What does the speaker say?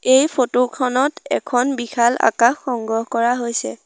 এই ফটো খনত এখন বিশাল আকাশ সংগ্ৰহ কৰা হৈছে।